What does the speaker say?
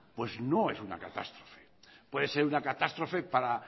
pues no es una catástrofe puede ser una catástrofe para